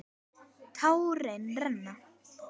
Tárin renna.